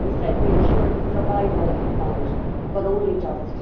he said we ensured the survival of the fund, but only just.